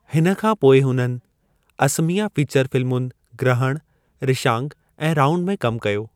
हिन खां पोइ उन्हनि असमिया फीचर फिल्मुनि ग्रहण, रिशांग ऐं राउड में कमु कयो।